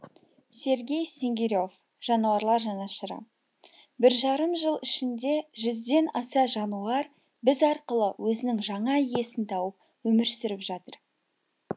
сергей снегире в жануарлар жанашыры біржарым жыл ішінде жүзден аса жануар біз арқылы өзінің жаңа иесін тауып өмір сүріп жатыр